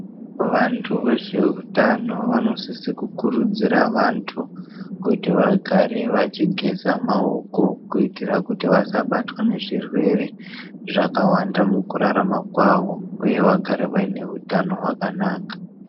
Vanthu vezveutano vanosise kukurudzira vanthu kuti vagare vachigeza maoko kuitira kuti vasabatwa nezvirwere zvakawanda mukurarama kwavo uye vagare vaine utano hwakanaka.